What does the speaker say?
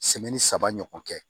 saba ɲɔgɔn kɛ